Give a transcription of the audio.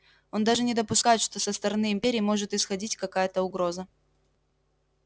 он даже не допускает что со стороны империи может исходить какая-то угроза